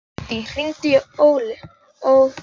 Addý, hringdu í Ófeig.